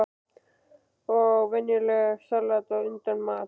Og venjulegt salat á undan mat.